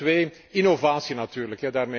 Punt twee, innovatie natuurlijk.